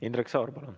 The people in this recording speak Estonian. Indrek Saar, palun!